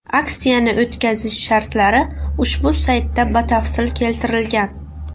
Aksiyani o‘tkazish shartlari ushbu saytda batafsil keltirilgan.